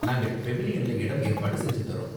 நாங்கள் பெவிலியன்ல இடம் ஏற்பாடு செஞ்சு தரோம்.